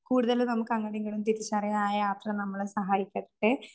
കൂടുതലും നമുക്ക് അങ്ങടുമിങ്ങടും തിരിച്ചറിയാനായ ആ യാത്ര സഹായിക്കട്ടെ!